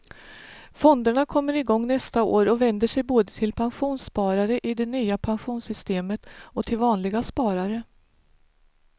Fonderna kommer igång nästa år och vänder sig både till pensionssparare i det nya pensionssystemet och till vanliga sparare.